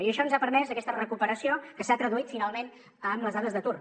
i això ens ha permès aquesta recuperació que s’ha traduït finalment en les dades d’atur